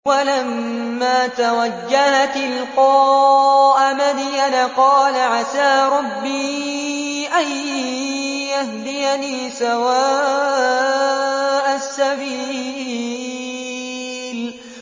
وَلَمَّا تَوَجَّهَ تِلْقَاءَ مَدْيَنَ قَالَ عَسَىٰ رَبِّي أَن يَهْدِيَنِي سَوَاءَ السَّبِيلِ